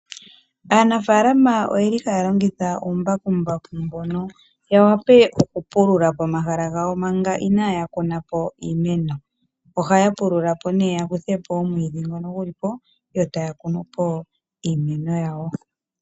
Aanafalama oyeli haya longitha oombakumbaku mbono yawape okupulula pomahala gawo manga inaaya kunapo iimeno. Ohaya pulula po ne yakuthe po omwiidhi ngono guli po, yo taya kunu po iimeno yawo.